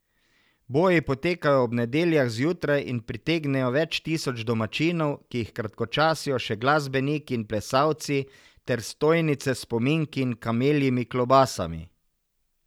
Boji potekajo ob nedeljah zjutraj in pritegnejo več tisoč domačinov, ki jih kratkočasijo še glasbeniki in plesalci ter stojnice s spominki in kameljimi klobasami.